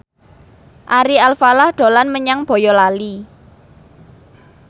Ari Alfalah dolan menyang Boyolali